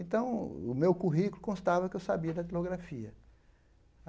Então, o meu currículo constava que eu sabia datilografia.